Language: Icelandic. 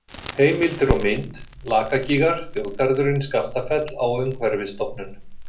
Heimildir og mynd: Lakagígar, Þjóðgarðurinn Skaftafell á Umhverfisstofnun.